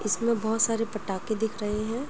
इसमें बहुत सारे पटाके दिख रहे हैं।